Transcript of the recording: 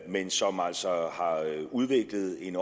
men som altså har udviklet en